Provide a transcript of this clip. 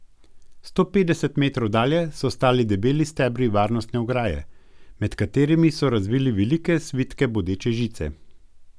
Sto petdeset metrov dalje so stali debeli stebri varnostne ograje, med katerimi so razvili velike svitke bodeče žice.